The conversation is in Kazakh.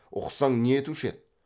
ұқсаң не етуші еді